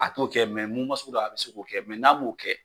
A t'o kɛ mɛ sugu dɔ a bɛ se k'o kɛ mɛ n'a m'o kɛ